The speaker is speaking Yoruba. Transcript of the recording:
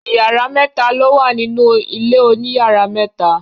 Ìyàrá mẹ́ta ló wà nínú ilé oníyàrá méta.